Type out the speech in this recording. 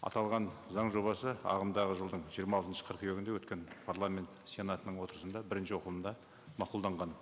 аталған заң жобасы ағымдағы жылдың жиырма алтыншы қыркүйегінде өткен парламент сенатының отырысында бірінші оқылымда мақұлданған